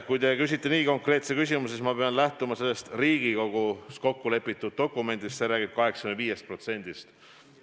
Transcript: Kui te küsite nii konkreetse küsimuse, siis ma pean lähtuma sellest Riigikogus kokku lepitud dokumendist, mis räägib 85%-st.